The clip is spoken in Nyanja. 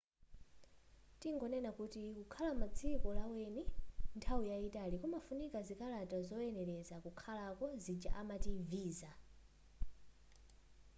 tingonena kuti kukhala mudziko laweni nthawi yayitali kumafunika zikalata zokuyeneleza kukhalako zija amati visa